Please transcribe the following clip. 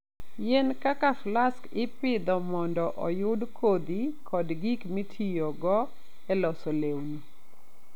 Yien kaka flax ipidho mondo oyud kodhi kod gik mitiyogo e loso lewni.